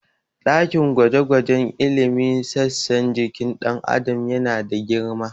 Ɗakin gwaje-gwajen ilimin sassan jikin ɗan Adam yana da girma.